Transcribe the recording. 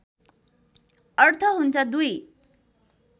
अर्थ हुन्छ दुई